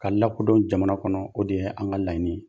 K'a lakodɔn jamana kɔnɔ, o de ye an ŋa laɲini ye.